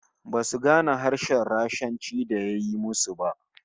Basu gane harshen Rashanci da ya yi ma su ba